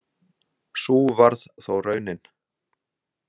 Sú varð þó raunin.